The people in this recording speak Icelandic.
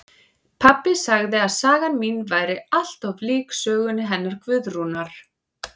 Pabbi sagði að sagan mín væri allt of lík sögunum hennar Guðrúnar